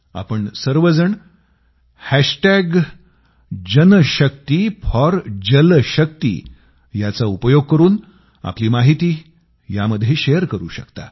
आपण सर्वजणजनशक्तीफॉरजलशक्ती जनशक्तिफोरजलशक्ती याचा उपयोग करून आपली माहिती यामध्ये शेअर करू शकता